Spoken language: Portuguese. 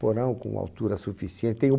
Porão com altura suficiente. Tem um